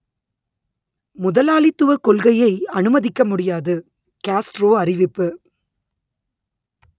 முதலாளித்துவக் கொள்கையை அனுமதிக்க முடியாது கேஸ்ட்ரோ அறிவிப்பு